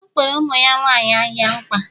o kwere ụmụ nwanyị ahịa nkwa